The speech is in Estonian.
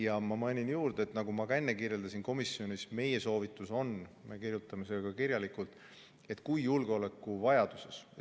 Ja ma mainin juurde, nagu ma ka enne kirjeldasin, komisjonis, et meie soovitus on see: me kirjutame selle ka kirjalikult, et tegu on julgeolekuvajadusega.